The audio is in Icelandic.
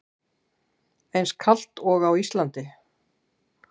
Eins kalt og á Íslandi?